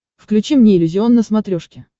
включи мне иллюзион на смотрешке